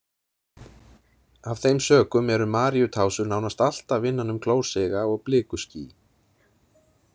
Af þeim sökum eru maríutásur nánast alltaf innan um klósiga og blikuský.